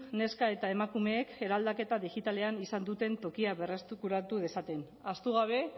neska eta emakumeek eraldaketa digitalean izan duten tokia berreskuratu dezaten ahaztu gabe